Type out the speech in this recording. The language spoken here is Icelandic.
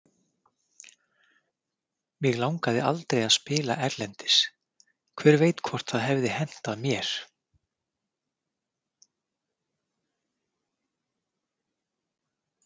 Mig langaði aldrei að spila erlendis, hver veit hvort það hefði hentað mér?